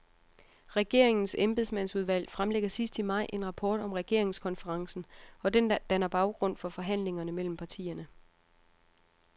Regeringens embedsmandsudvalg fremlægger sidst i maj en rapport om regeringskonferencen, og den danner baggrund for forhandlingerne mellem partierne.